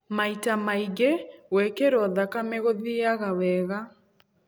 Maita maingĩ gwĩkĩro thakame gũthiaga wega.